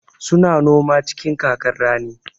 Su na noma cikin kakar rani.